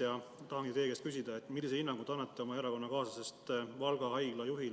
Ma tahangi teie käest küsida, millise hinnangu te annate oma erakonnakaaslasest Valga Haigla juhi